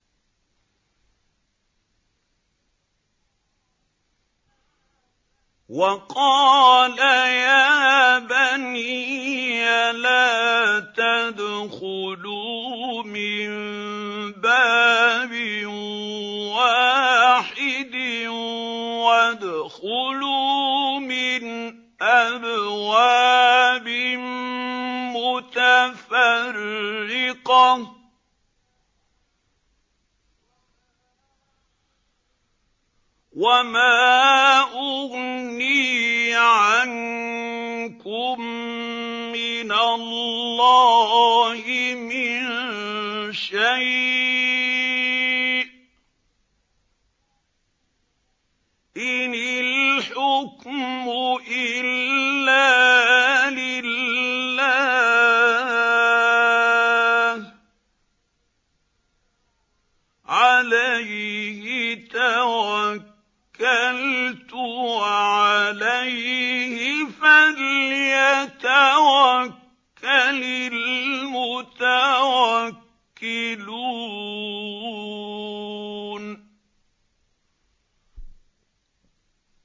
وَقَالَ يَا بَنِيَّ لَا تَدْخُلُوا مِن بَابٍ وَاحِدٍ وَادْخُلُوا مِنْ أَبْوَابٍ مُّتَفَرِّقَةٍ ۖ وَمَا أُغْنِي عَنكُم مِّنَ اللَّهِ مِن شَيْءٍ ۖ إِنِ الْحُكْمُ إِلَّا لِلَّهِ ۖ عَلَيْهِ تَوَكَّلْتُ ۖ وَعَلَيْهِ فَلْيَتَوَكَّلِ الْمُتَوَكِّلُونَ